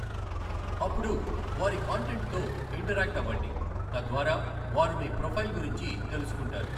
అప్పుడు వారి కాంటెంట్ తో ఇంటరాక్ట్ అవ్వండి, తద్వారా వారు మీ ప్రొఫైల్ గురించి తెలుసుకుంటారు.